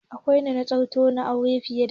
Kwanan nan kiristoci na aure fiye da ɗaya